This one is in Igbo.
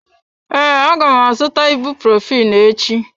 Ee, aga m azụta ibuprophen echi.